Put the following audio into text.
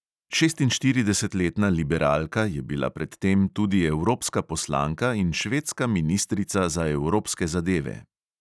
Šestinštiridesetletna liberalka je bila pred tem tudi evropska poslanka in švedska ministrica za evropske zadeve.